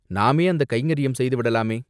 நாமே அந்தக் கைங்கர்யம் செய்து விடலாமே?